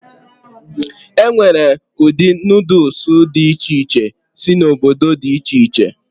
E nwere ụdị Nuudus dị iche iche si n'obodo dị iche iche.